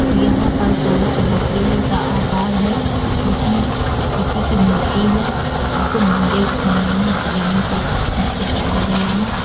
यहा पर गोल चबूतरे जैसा आकार है जिस मे किसी की मूर्ति है जिस मंदिर नुमा डिजाइन से सजाया गया है।